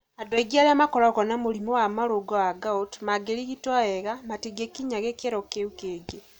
Andũ aingĩ arĩa makoragwo na mũrimũ wa marũngo wa gout mangĩrigitwo wega, matingĩkinya gĩkĩro kĩu Kĩngĩ